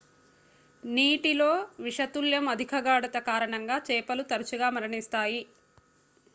నీటిలో విషతుల్యం అధిక గాఢత కారణంగా చేపలు తరచుగా మరణిస్తాయి